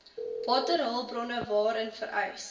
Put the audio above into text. waterhulpbronne waarin vereis